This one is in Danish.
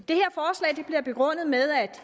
her begrundet med at